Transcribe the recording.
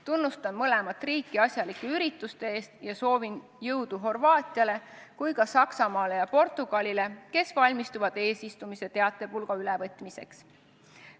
Tunnustan mõlemat riiki asjalike ürituste eest ja soovin jõudu nii Horvaatiale kui ka Saksamaale ja Portugalile, kes valmistuvad eesistumise teatepulga ülevõtmiseks.